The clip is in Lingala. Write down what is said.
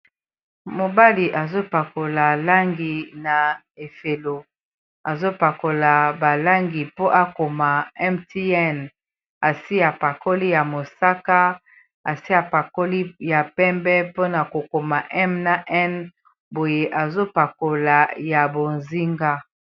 Mobali azopakola langi na efelo azopakola balangi mpo akoma Mtn asi a pakoli ya mosaka asi a pakoli ya pembe mpona kokoma M na N boye azopakola ya bozinga.